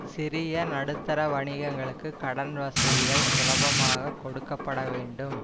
சிறிய நடுத்தர வணிகங்களுக்கு கடன் வசதிகள் சுலபமாகக் கொடுக்க பட வேண்டும்